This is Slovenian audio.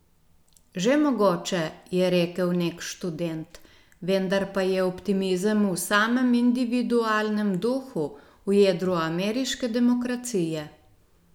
Že mogoče, je rekel nek študent, vendar pa je optimizem v samem individualnem duhu, v jedru ameriške demokracije.